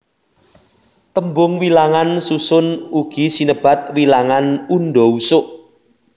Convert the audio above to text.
Tembung wilangan susun ugi sinebat wilangan undha usuk